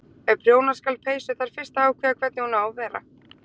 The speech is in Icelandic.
Ef prjóna skal peysu þarf fyrst að ákveða hvernig hún á að vera.